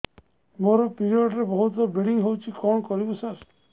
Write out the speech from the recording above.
ମୋର ପିରିଅଡ଼ ରେ ବହୁତ ବ୍ଲିଡ଼ିଙ୍ଗ ହଉଚି କଣ କରିବୁ ସାର